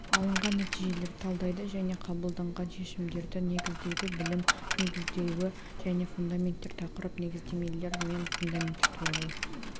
алынған нәтижелерді талдайды және қабылданған шешімдерді негіздейді бөлім негізделуі және фундаменттер тақырып негіздемелер мен фундаменттер туралы